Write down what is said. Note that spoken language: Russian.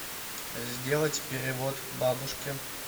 сделать перевод бабушке